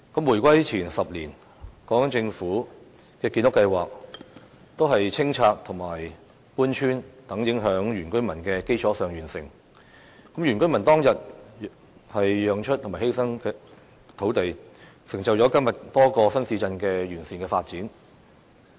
回歸前10年，港英政府的建屋計劃是在清拆、搬村等影響原居民的基礎上完成的，原居民當天的讓步和犧牲土地成就了今天多個新市鎮的完善發展。